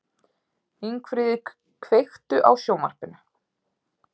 Ingifríður, kveiktu á sjónvarpinu.